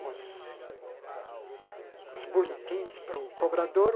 os boletins para o cobrador.